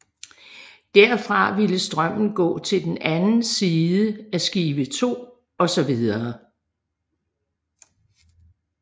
Derfra ville strømmen gå til den anden side af skive 2 og så videre